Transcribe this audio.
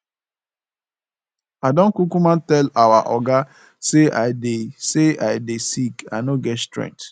i don kukuma tell our oga say i dey say i dey sick i no get strength